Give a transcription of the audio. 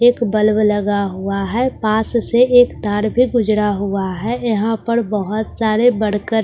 एक बल्‍ब लगा हुआ है पास से एक तार भी गुजरा हुआ है यहां पर बहुत सारे वर्कस भी --